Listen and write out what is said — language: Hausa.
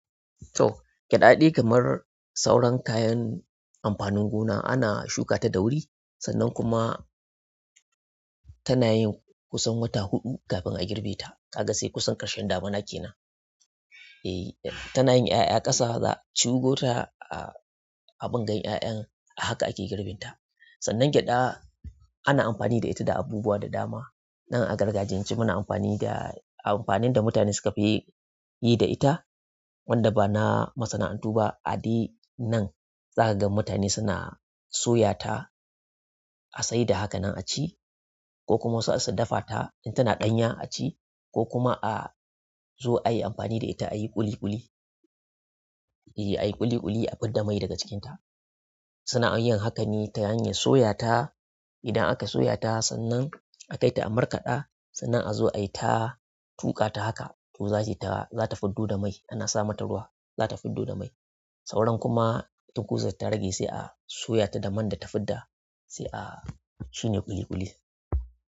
To, gyaɗa dai kamar sauran kayan amfanin gona ana shukata da wuri sannan kuma tana yin kusan wata uku kafin a girbe ta. Kaga sai kusan ƙarshen damina kenan. E tana yin ƴaƴa ƙasa za a cingo ta a bingan ƴaƴan, ahaka ake girbin ta. Sannan gyada ana amfani da ita da abubuwa da dama. Nan a gargajiyance muna amfani da, amfanin da mutane suka fi yi, yi da ita wanda ba na masana'antu ba. A dai nan za kaga mutane suna soya ta a saida haka nan a ci, ko kuma za su dafa ta in tana ɗanya a ci ko kuma a zo ayi amfani da ita ayi ƙuli ƙuli. E a yi ƙuli ƙuli a fidda mai daga cikinta. Suna yin haka ne ta hanyar soya ta. Idan aka soya ta sannan a kai ta a markaɗa sannan a zo ayi ta tuƙa ta haka to zata, zata fiddo da mai. Ana sa mata ruwa zata fiddo da mai. Sauran kuma tunkuzan da ta rage sai a soyata ta man da ta fidda sai a shanya ƙuli ƙuli.